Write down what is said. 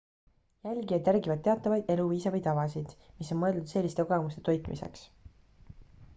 jälgijad järgivad teatavaid eluviise või tavasid mis on mõeldud selliste kogemuste toitmiseks